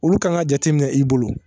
Olu kan ka jateminɛ i bolo